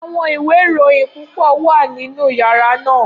Awọn iwe irohin pupọ wa ninu yara naa.